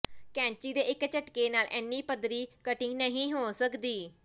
ਕੈਂਚੀ ਦੇ ਇੱਕ ਝਟਕੇ ਨਾਲ ਐਨੀ ਪੱਧਰੀ ਕਟਿੰਗ ਨਹੀਂ ਹੋ ਸਕਦੀ